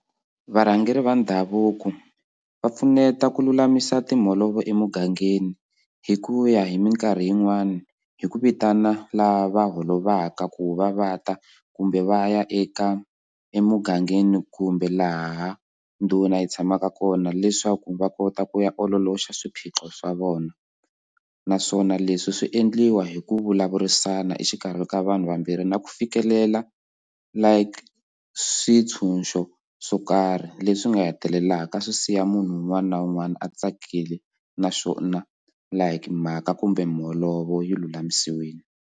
Varhangeri va ndhavuko va pfuneta ku lulamisa timholovo emugangeni hi ku ya hi minkarhi yin'wani hi ku vitana lava holovaka ku va va ta kumbe va ya eka emugangeni kumbe laha ndhuna hi tshamaka kona leswaku va kota ku ya ololoxa swiphiqo swa vona naswona leswi swi endliwa hi ku vulavurisana exikarhi ka vanhu vambirhi na ku fikelela like swintshunxo swo karhi leswi nga hetelelaka swi siya munhu un'wana na un'wana a tsakile naswona like mhaka kumbe miholovo yi lulamisiwile.